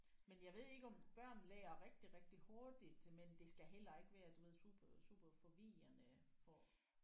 Men jeg ved ikke om børn lærer rigtig rigtig hurtigt men det skal heller ikke være du ved super super forvirrende for